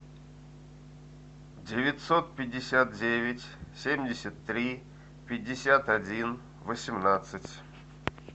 девятьсот пятьдесят девять семьдесят три пятьдесят один восемнадцать